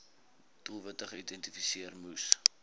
doelwitte geïdentifiseer moes